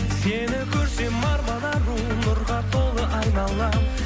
сені көрсем арман ару нұрға толы айналам